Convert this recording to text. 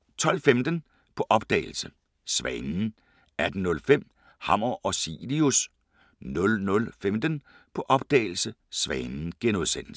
12:15: På opdagelse – Svanen 18:05: Hammer og Cilius 00:15: På opdagelse – Svanen *